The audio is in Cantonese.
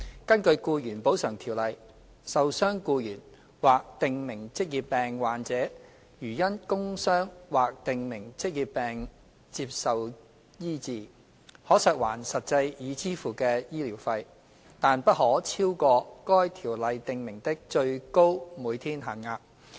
根據《僱員補償條例》，受傷僱員或訂明職業病患者如因工傷或訂明職業病接受醫治，可索還實際已支付的醫療費，但不可超過該條例訂明的最高每天限額。